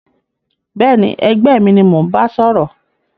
Béèni ẹgbẹ́ mi ni mó n ba sòrò